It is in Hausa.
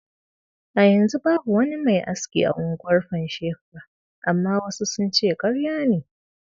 A yanzu babu wani mai aski a unguwar Pansheka, amma wasu sun ce karya ne.